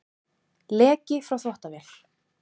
Leki frá þvottavél